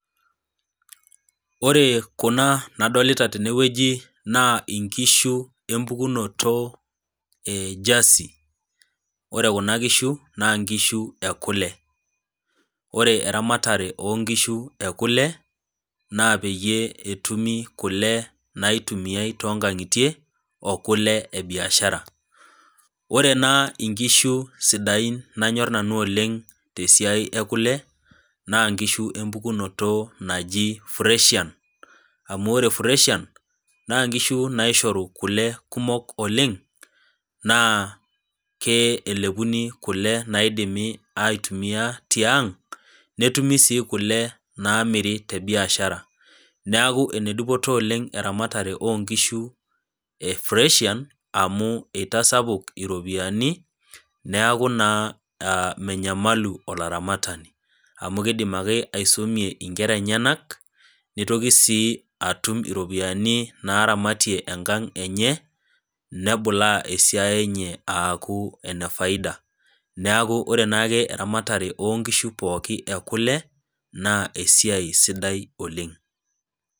Ore kuna nadolta tenewueji na nkishu empukunoto e jasi ore kuna kishu na nkishu ekule, ore eramatare onkishu ekule na peyie etumi kule naitumiai tonkangitie okule ebiashara ore na nkishu sidain nanyor nanu oleng tesiai ekule na nkishu empukunoto naji freshian amu na nkishubnaishoru kule kumol oleng na elepuni kule naidimi aitumia tiang netumi si kule naitumiai tebiashara neaku enedupoto oleng eramatare onkishu e freshian eitasapuk iropiyiani neaku na menyamalu olaramatani amu kidim ake aisumie nkera enyenak nitoki si atum iropiyiani naramatie enkang enye nebulaa esiai enye aaku enefaida neaku ore nake eramatare onkishu pooki ekule na esiaia sidai oleng.